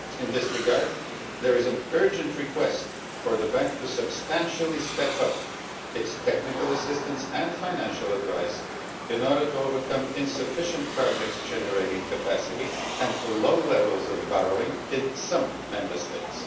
In this regard, there is an urgent request for the Bank to substantially step up its technical assistance and financial advice in order to overcome insufficient project generating capacity and low levels of borrowing in some Member States.